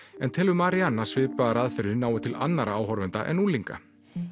en telur Marianne að svipaðar aðferðir nái til annarra áhorfenda en unglinga